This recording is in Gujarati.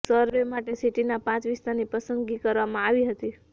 સરવે માટે સિટીના પાંચ વિસ્તારની પસંદગી કરવામાં આવી હતી